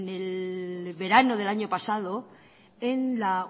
el verano del año pasado en la